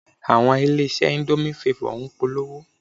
Àwọn ilé-iṣẹ́ indomie favor ń polówó